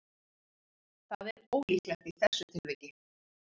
Það er ólíklegt í þessu tilviki.